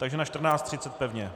Takže na 14.30 pevně.